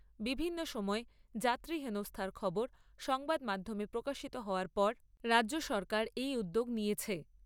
বিভিন্ন সময়ে যাত্রী হেনস্থার খবর সংবাদমাধ্যমে প্রকাশিত হওয়ার পর রাজ্য সরকার এই উদ্যোগ নিয়েছে।